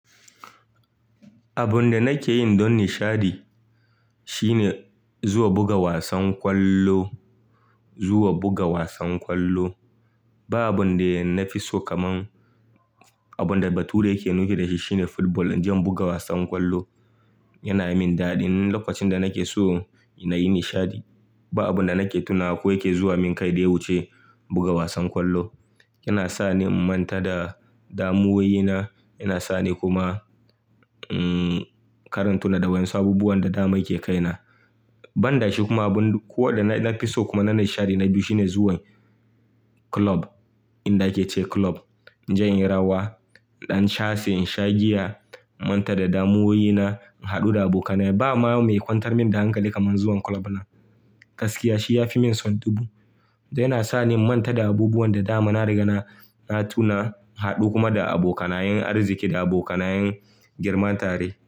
Abun da nake yi don nishaɗi shine zuwa buga wasan ƙwallo, zuwa buga wasan ƙwallo. Ba abun da na fi so kaman abun da Bature yake nufi da shi shine football. Inje in buga wasan ƙwallo yana min daɗi. Lokacin da nake so na yi nishaɗi, ba abun da nake tuna ko yake zuwa min kai da wuce buga wasan ƙwallo. Yana sa ni in manta da damuwaye na, yana sa ni kuma, mm, karanta na daban wasu abubuwan da dama ke kai na. Ban da shi kuma, abun ko da na fi so kuma na nishaɗi na biyu shine zuwa club, inda ake ce club. In jai inyi rawa, in dan shafee, in sha giya, in manta da damuwaye na, in haɗu da abokai na. Ba ma mai kwantar min da hankali kamar zuwan club na. Gaskiya shi ya fi min son dubu. Yana sa ni in manta da abubuwan da dama, na riga na, na tuna, in haɗu kuma da abokanaye arziki da abokanaye girma tare.